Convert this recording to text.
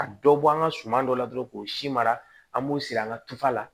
Ka dɔ bɔ an ka suman dɔ la dɔrɔn k'o si mara an b'u siri an ka tufa la